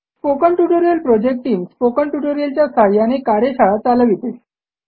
spoken tutorial project team spoken tutorial च्या सहाय्याने कार्यशाळा चालविते